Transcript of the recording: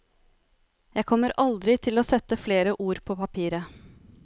Jeg kommer aldri til å sette flere ord på papiret.